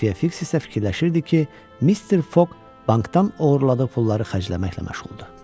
Xəfiyyə Fiks isə fikirləşirdi ki, Mister Foq bankdan oğurladığı pulları xərcləməklə məşğuldur.